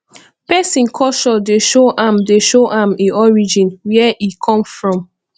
pesin culture dey show am dey show am e origin where e come from